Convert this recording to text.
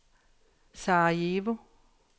Sarajevo